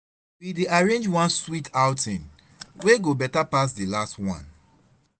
We dey arrange one sweet outing wey go better pass di last one